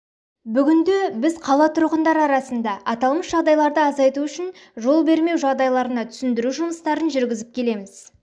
бүгінде біз қала тұрғындары арасында аталмыш жағдайларды азайту үшін жол бермеу жағдайларына түсіндіру жұмыстарын жүргізіп келеміз